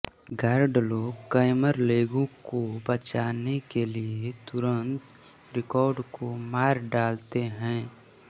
guard लोग camerlengo को बचाने के लिए तुरंत रिक्टर को मार डालते हैं